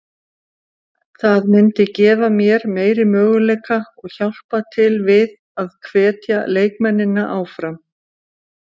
Það myndi gefa mér meiri möguleika og hjálpa til við að hvetja leikmennina áfram.